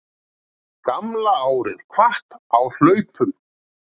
Gamla árið kvatt á hlaupum